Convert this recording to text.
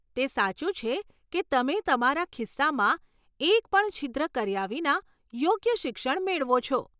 તે સાચું છે કે તમે તમારા ખિસ્સામાં એક પણ છિદ્ર કર્યા વિના યોગ્ય શિક્ષણ મેળવો છો.